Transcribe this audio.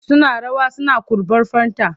Suna rawa suna kurɓar fanta.